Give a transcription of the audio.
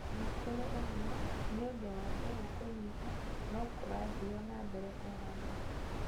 O na kũrĩ ũguo, nĩ ũndũ wa mbegũ kũnyiha, nũ kũrathiio na mbere kũhandwo.